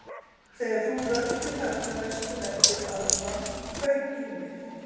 Þegar þú röltir þarna vestur eftir áðan fauk í mig